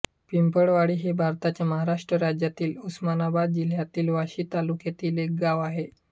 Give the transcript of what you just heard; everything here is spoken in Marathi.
पिंपळवाडी हे भारताच्या महाराष्ट्र राज्यातील उस्मानाबाद जिल्ह्यातील वाशी तालुक्यातील एक गाव आहे